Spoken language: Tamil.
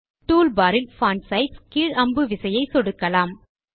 டூல்பார் இல் பான்ட் சைஸ் கீழ் அம்பு விசையை சொடுக்கலாம்